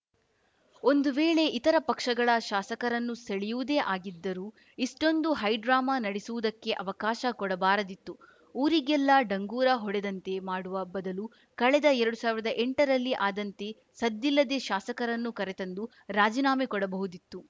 ಒಂದು ವೇಳೆ ಇತರ ಪಕ್ಷಗಳ ಶಾಸಕರನ್ನು ಸೆಳೆಯುವುದೇ ಆಗಿದ್ದರೂ ಇಷ್ಟೊಂದು ಹೈಡ್ರಾಮಾ ನಡೆಸುವುದಕ್ಕೆ ಅವಕಾಶ ಕೊಡಬಾರದಿತ್ತು ಊರಿಗೆಲ್ಲ ಡಂಗುರ ಹೊಡೆದಂತೆ ಮಾಡುವ ಬದಲು ಕಳೆದ ಎರಡು ಸಾವಿರದ ಎಂಟರಲ್ಲಿ ಆದಂತೆ ಸದ್ದಿಲ್ಲದೆ ಶಾಸಕರನ್ನು ಕರೆತಂದು ರಾಜಿನಾಮೆ ಕೊಡಬಹುದಿತ್ತು